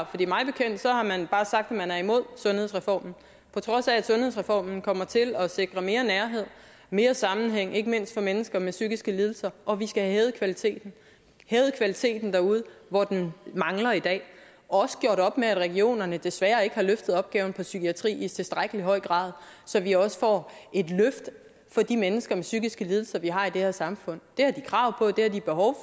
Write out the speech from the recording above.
fordi mig bekendt har man bare sagt at man er imod sundhedsreformen på trods af at sundhedsreformen kommer til at sikre mere nærhed mere sammenhæng ikke mindst for mennesker med psykiske lidelser og at vi skal have hævet kvaliteten hævet kvaliteten derude hvor den mangler i dag og også gjort op med at regionerne desværre ikke har løftet opgaven for psykiatrien i tilstrækkelig høj grad så vi også får et løft for de mennesker med psykiske lidelser vi har i det her samfund det har de krav på det har de behov